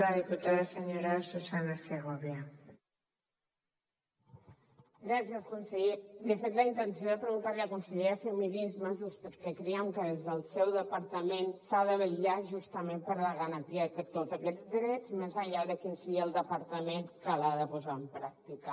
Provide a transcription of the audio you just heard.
de fet la intenció de preguntar li a la consellera de feminismes és perquè creiem que des del seu departament s’ha de vetllar justament per la garantia de tots aquests drets més enllà de quin sigui el departament que l’ha de posar en pràctica